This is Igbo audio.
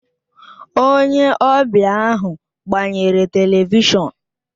Onye ọbịa ahụ gbanyere Televishọn